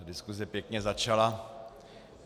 Diskuse pěkně začala.